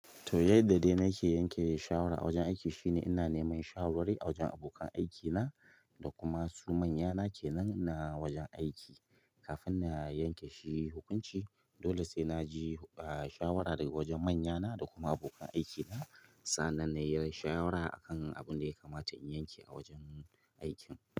To, yadda da ina ke yanke shawara a wajen aiki shine ina neman shawarwari a wajen abokan aikina da kuma su manyana ke nan na wajen aiki kafin na yanke shi hukunci. Dole sai naji, ah, shawara daga wajen manyana da kuma abokan aikina sannan na yi shawara a kan abin da ya kamata in yanke a wajen aikin.